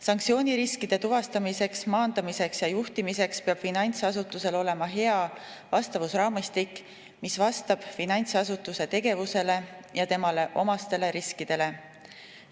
Sanktsiooniriskide tuvastamiseks, maandamiseks ja juhtimiseks peab finantsasutusel olema hea vastavusraamistik, mis vastab finantsasutuse tegevusele ja temale omastele riskidele.